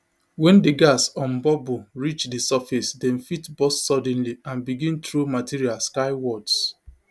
wen di gas um bubble reach di surface dem fit burst suddenly and begin throw material skywards